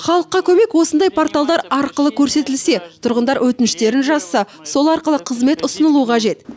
халыққа көмек осындай порталдар арқылы көрсетілсе тұрғындар өтініштерін жазса сол арқылы қызмет ұсынылуы қажет